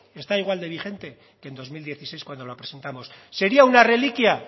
está igual de vigente que en dos mil dieciséis cuando la presentamos sería una reliquia